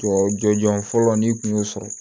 Tubabu jɔn jɔn fɔlɔ n'i kun y'o sɔrɔ